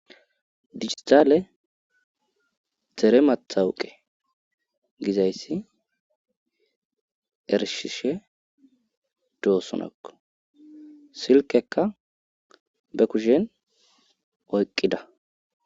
dijitale dere mathawuqe gizayssi ershishe doossonakko silkekka be kushen oyqqida